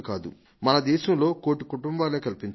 మన దేశంలో కోటి కుటుంబాలే కల్పించాయి